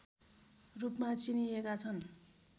रूपमा चिनिएका छन्